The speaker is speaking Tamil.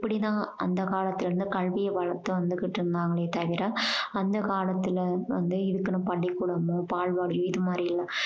அப்படி தான் அந்த காலத்துலேர்ந்து கல்விய வளர்த்து வந்துக்கிடிருந்தாங்களே தவிர அந்த காலத்துல வந்து பள்ளி கூடமும் பால்வாடியும் இது மாதிரி இல்ல